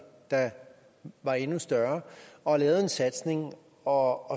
der var endnu større og lavede en satsning og